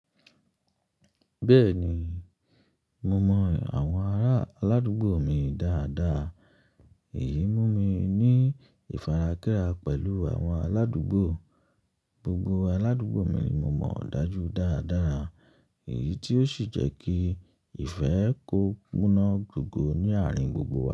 Bẹ́ẹ̀ni, mo mọ àwọn ará aládùúgbò mi dáadáa. Èyí mú mi ní ìfarakẹ́ra pẹ̀lú àwọn aládùúgbò. Gbogbo aládùúgbò mi ni mo mọ̀ dájú dáadara, èyí tí ó sì jẹ́ kí ìfẹ́ kó kúná gogo ní àárín gbogbo wa.